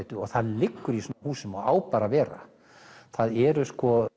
og það liggur í svona húsum og á bara að vera það eru